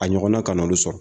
A ɲɔgɔnna kanna olu sɔrɔ